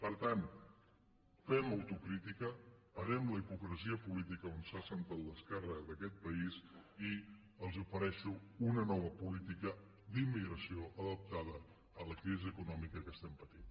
per tant fem autocrítica parem la hipocresia política on s’ha centrat l’esquerra d’aquest país i els ofereixo una nova política d’immigració adaptada a la crisi eco·nòmica que patim